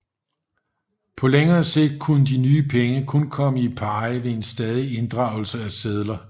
På længere sigt kunne de nye penge kun komme i pari ved en stadig inddragelse af sedler